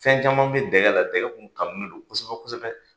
Fɛn caman bɛ dɛgɛ la , dɛgɛ kumu kanulen don kosɛbɛ.